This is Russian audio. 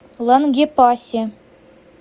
лангепасе